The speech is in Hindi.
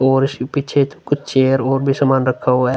और इसके पीछे कुछ चेयर और भी कुछ सामान रखा हुवा है।